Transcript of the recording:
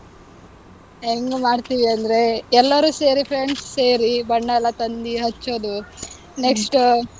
ಹೆಂಗ್ ಮಾಡ್ತೀವಿ ಅಂದ್ರೆ, ಎಲ್ಲರೂ ಸೇರಿ friends ಸೇರಿ ಬಣ್ಣ ಎಲ್ಲಾ ತಂದಿ ಹಚ್ಚೋದು, next